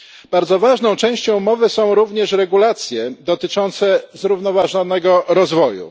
Bardzo ważną częścią umowy są również regulacje dotyczące zrównoważonego rozwoju.